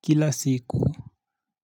Kila siku,